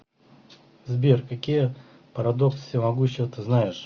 сбер какие парадокс всемогущего ты знаешь